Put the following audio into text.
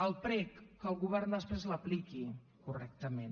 el prec que el govern després l’apliqui correctament